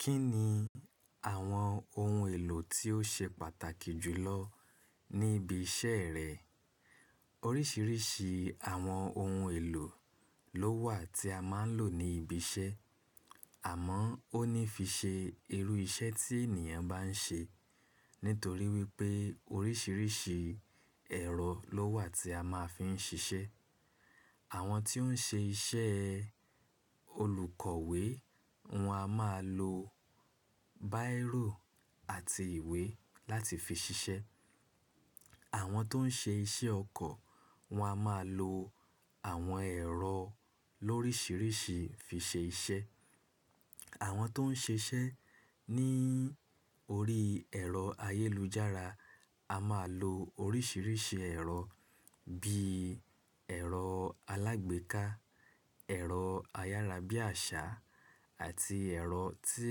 Kí ni àwọn ohun èlò tí ó ṣe pàtàkì jù lọ ní ibi iṣẹ́ rẹ? Oríṣiríṣi àwọn ohun èlò ló wà tí a máa ń lò ní ibi iṣẹ́, àmọ́ ó ní fi ṣe irú iṣẹ́ tí ènìyàn bá ń ṣe, nítorí wípé oríṣiríṣi ẹ̀rọ ló wà tí a máa fi ń ṣiṣẹ́. Àwọn tí ó ń ṣe iṣẹ́ olùkọ̀wé, wọn a máa lo báìrò àti ìwé láti fi ṣiṣẹ́. Àwọn tó ń ṣe iṣẹ́ ọkọ̀, wọn a máa lo àwọn ẹ̀rọ lórísìíríṣi fi ṣe iṣẹ́. Àwọn tó ń ṣiṣẹ́ ní orí ẹ̀rọ ayélujára, a máa lo oríṣiríṣi ẹ̀rọ bí ẹ̀rọ alágbèéká, ẹ̀rọ ayárabíàṣá àti ẹ̀rọ tí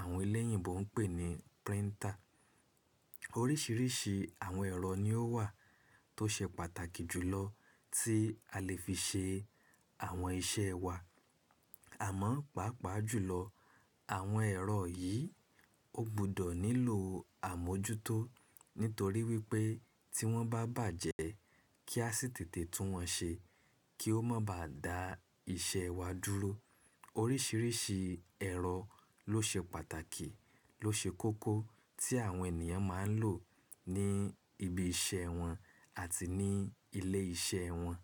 àwọn elẹ́yìnbo ń pè ní príntà. Oríṣiríṣi àwọn ẹ̀rọ ni ó wà tó ṣe pàtàkì jùlọ tí a lè fi ṣe àwọn iṣẹ́ wa. Àmọ́, pàápàá jùlọ àwọn ẹ̀rọ yìí ó gbọdọ̀ nílò àmójútó, nítorí wípé tí wọ́n bá bàjẹ́ kí a sì tètè tún wọn ṣe kí ó má bà dáa iṣẹ́ wa dúró. Oríṣiríṣi ẹ̀rọ ló ṣe pàtàkì, ló ṣe kókó tí àwọn ènìyàn máa ń lò ní ibi iṣẹ́ wọn àti ní ilé iṣẹ́ wọn.